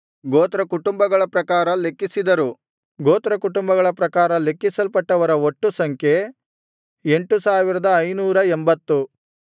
ಗೋತ್ರಕುಟುಂಬಗಳ ಪ್ರಕಾರ ಲೆಕ್ಕಿಸಲ್ಪಟ್ಟವರ ಒಟ್ಟು ಸಂಖ್ಯೆ 8580